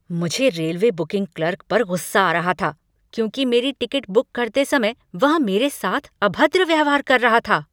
मुझे railway booking clerk पर गुस्सा आ रहा था क्योंकि मेरी टिकट बुक करते समय वह मेरे साथ अभद्र व्यवहार कर रहा था।